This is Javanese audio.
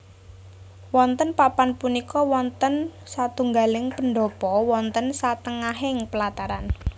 Wonten papan punika wonten satunggaling pendhapa wonten satengahing pelataran